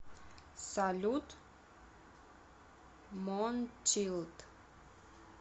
салют мончилд